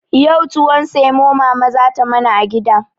Yau tuwon samo mama za ta mana a gida.